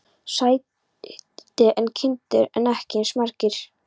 Stærri en kindur en ekki eins margir.